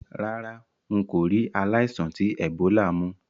Rárá, n kò ri aláìsàn ti Ebola mú